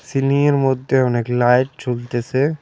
সিলিংয়ের মধ্যে অনেক লাইট ঝুলতেছে।